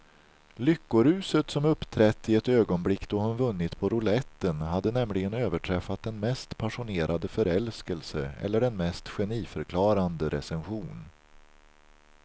Lyckoruset som uppträtt i ögonblick då hon vunnit på rouletten hade nämligen överträffat den mest passionerade förälskelse eller den mest geniförklarande recension.